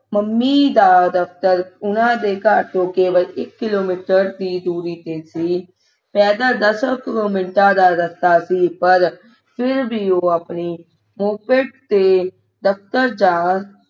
mummy ਦਾ ਦਫਤਰ ਉਨ੍ਹਾਂ ਦਾ ਘਰ ਤੋਂ ਇਕ ਕਿਲੋਮੀਟਰ ਦੀ ਦੂਰੀ ਤੇ ਸੀ ਪੈਦਲ ਦਸਾਂ ਮਿੰਟਾਂ ਦਾ ਰਸਤਾ ਸੀ ਪਰ ਫਿਰ ਵੀ ਉਹ ਅਪਣੀ moped ਤੇ ਦਫਤਰ ਜਾਣ